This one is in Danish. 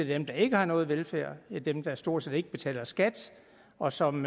dem der ikke har noget velfærd dem der stort set ikke betaler skat og som